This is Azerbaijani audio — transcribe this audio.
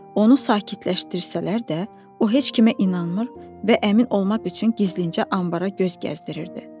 Onu sakitləşdirsələr də, o heç kimə inanmır və əmin olmaq üçün gizlincə anbara göz gəzdirirdi.